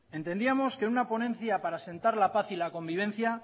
entendíamos que en una ponencia para sentar la paz y la convivencia